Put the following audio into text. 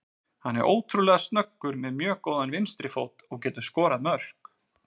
Hann er ótrúlega snöggur, með mjög góðan vinstri fót og getur skorað mörk.